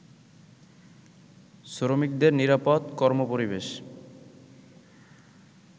শ্রমিকদের নিরাপদ কর্মপরিবেশ